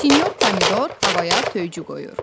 Sinyor Pomidor havaya töycü qoyur.